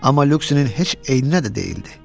Amma Lüksinin heç eyninə də deyildi.